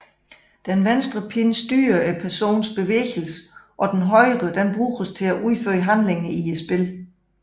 Den venstre pind styrer personens bevægelser og den højre bruges til at udføre handlinger i spillet